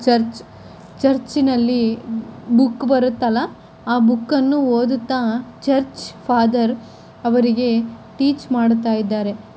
Church ಚರ್ಚಿನಲ್ಲಿ book ಬರುತಲ್ಲ ಆ ಬುಕ್ ಅನ್ನು ಓದುತ್ತ ಚರ್ಚ್ ಫಾದರ್ ಅವರಿಗೆ ಟೀಚ್ ಮಾಡ್ತಾ ಇದಾರೆ .